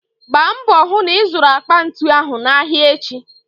Gba mbò hų na ịzụrụ akpa ntu n'ahịa echi.